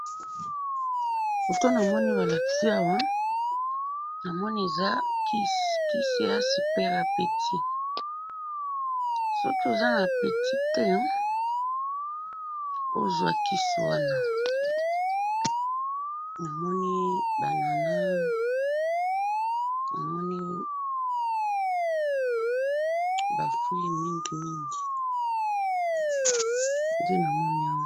Foto namoni balakisi awa, namoni eza kisi, kisi eza super apeti, soki oza na apeti te, ozwa kisi wana, namoni ba anana, namoni ba fruits mingimingi, nde namoni awa.